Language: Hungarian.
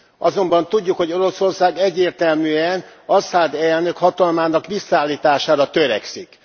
Azonban tudjuk, hogy Oroszország egyértelműen Aszad elnök hatalmának visszaállítására törekszik.